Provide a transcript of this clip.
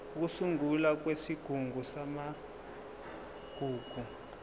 ukusungulwa kwesigungu samagugu